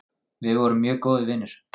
Við vorum mjög góðir vinir.